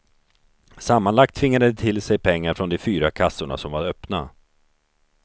Sammanlagt tvingade de till sig pengar från de fyra kassorna som var öppna.